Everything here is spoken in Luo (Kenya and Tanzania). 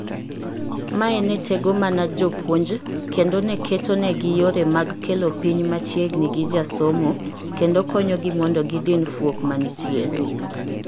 Mae ne tego mana jopuonj kendo neketonigi yore mag kelo piny machiegni gi jasomo kendo konyogi mondo gidin fuok mantiere '.